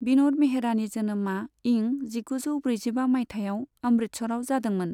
बिन'द मेहरानि जोनोमा इं जिगुजौ ब्रैजिबा मायथाइयाव अमृतसराव जादोंमोन।